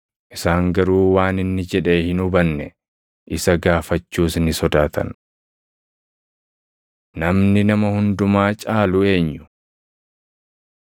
Isaan garuu waan inni jedhe hin hubanne; isa gaafachuus ni sodaatan. Namni Nama Hundumaa Caalu Eenyu? 9:33‑37 kwf – Mat 18:1‑5; Luq 9:46‑48